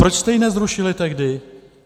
Proč jste ji nezrušili tehdy?